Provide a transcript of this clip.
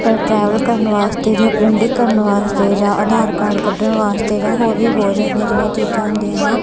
Travel ਕਰਨ ਵਾਸਤੇ ਜਾਂ ਪ੍ਰਿੰਟਿੰਗ ਕਰਨ ਵਾਸਤੇ ਜਾ ਅਧਾਰ ਕਾਰਡ ਕੱਡਣ ਵਾਸਤੇ ਜਾਂ ਹੋਰ ਵੀ ਬਹੁਤ ਜਿਹੜੀਆਂ ਚੀਜ਼ਾਂ ਹੁੰਦੀਆ ਆ।